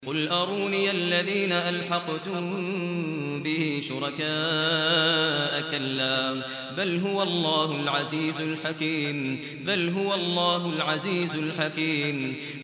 قُلْ أَرُونِيَ الَّذِينَ أَلْحَقْتُم بِهِ شُرَكَاءَ ۖ كَلَّا ۚ بَلْ هُوَ اللَّهُ الْعَزِيزُ الْحَكِيمُ